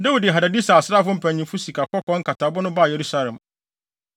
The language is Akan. Dawid de Hadadeser asraafo mpanyimfo sikakɔkɔɔ nkatabo no baa Yerusalem.